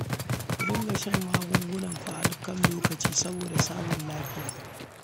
Ku dinga shan magungunanku a kan lokaci saboda samun lafiya